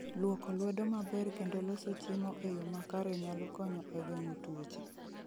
Lwoko lwedo maber kendo loso chiemo e yo makare nyalo konyo e geng'o tuoche